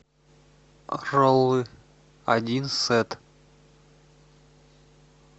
роллы один сет